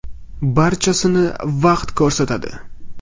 Barchasini vaqt ko‘rsatadi.